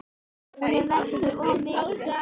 Hún er næstum því of mikil.